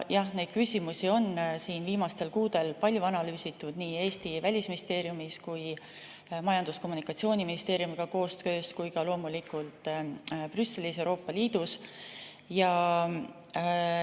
Jah, neid küsimusi on viimastel kuudel palju analüüsitud nii Eesti Välisministeeriumis, koostöös Majandus‑ ja Kommunikatsiooniministeeriumiga, kui ka loomulikult Brüsselis, Euroopa Liidus.